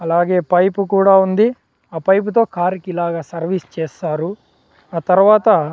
అలాగే పైపు కూడా ఉంది ఆ పైపు తో కార్ కి ఇలాగ సర్వీస్ చేస్తారు ఆ తర్వాత --